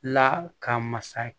La ka masa